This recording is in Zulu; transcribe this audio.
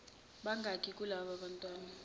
bangaki kulaba bantwana